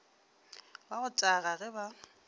wa go taga ge ba